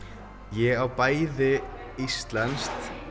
ég á bæði íslenskt